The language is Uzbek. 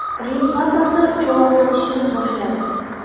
Rim papasi cho‘loqlanishni boshladi.